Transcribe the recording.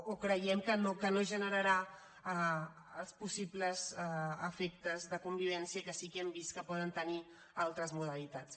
o creiem que no generarà els possibles efectes de convivència que sí que hem vist que poden tenir altres modalitats